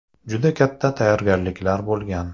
Juda katta tayyorgarliklar bo‘lgan.